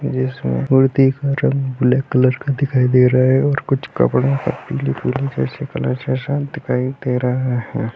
जिसमें मूर्ति का रंग ब्लैक कलर का दिखाई दे रहे हैं और कुछ कपड़े पे पीले-पीले जैसे कलर जैसा दिखाई दे रहा है।